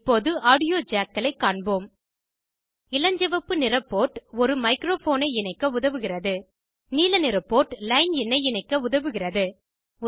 இப்போது ஆடியோ ஜேக்களை காண்போம் இளஞ்சிவப்பு நிற போர்ட் ஒரு மைக்ரோபோனை இணைக்க உதவுகிறது நீலநிற போர்ட் லைன் இன்னை இணைக்க உதவுகிறது